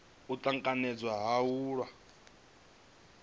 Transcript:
u tanganedzwa ha vhaaluwa vhane